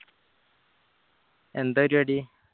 എന്താ പരിപാടി